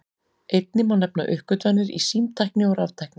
Einnig má nefna uppgötvanir í símtækni og raftækni.